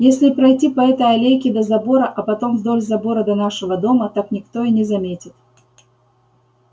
если пройти по этой аллейке до забора а потом вдоль забора до нашего дома так никто и не заметит